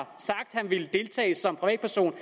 han ville deltage som privatperson